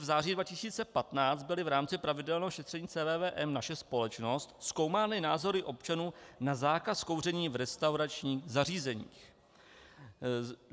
V září 2015 byly v rámci pravidelného šetření CVVM Naše společnost zkoumány názory občanů na zákaz kouření v restauračních zařízeních.